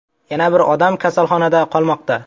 Yana bir odam kasalxonada qolmoqda.